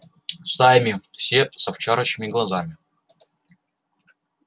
стаями все с овчарочьими глазами